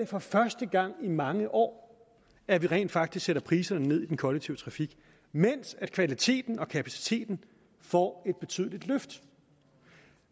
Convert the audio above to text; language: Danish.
for første gang i mange år sker at vi rent faktisk sætter priserne ned i den kollektive trafik mens kvaliteten og kapaciteten får et betydeligt løft